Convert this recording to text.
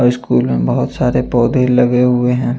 और स्कुल में बहत सारे पौधे लगे हुए है।